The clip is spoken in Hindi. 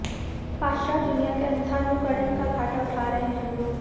पाश्चात्य दुनिया के अंधानुकरण का घाटा उठा रहे हमलोग